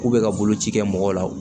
K'u bɛ ka boloci kɛ mɔgɔw la